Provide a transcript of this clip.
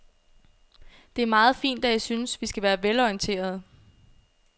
Det er meget fint, at I synes, vi skal være velorienterede.